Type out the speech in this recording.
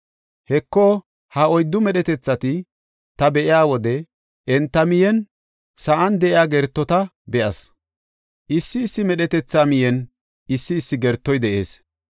Heko, ha oyddu medhetethata ta be7iya wode, enta miyen, sa7an de7iya gertota be7as; issi issi medhetetha miyen issi issi gertoy de7ees.